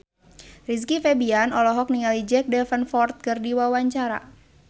Rizky Febian olohok ningali Jack Davenport keur diwawancara